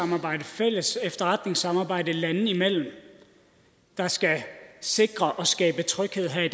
og et fælles efterretningssamarbejde landene imellem der skal sikre at skabe tryghed her i